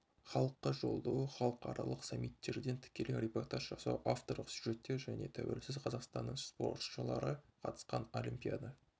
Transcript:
халыққа жолдауы халықаралық саммиттерден тікелей репортаж жасау авторлық сюжеттер және тәуелсіз қазақстанның спортшылары қатысқан олимпиада